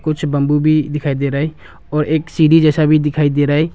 कुछ बम्बू भी दिखाई दे रहा है और सीढ़ी जैसा भी दिखाई दे रहा है।